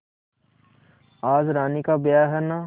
आज रानी का ब्याह है न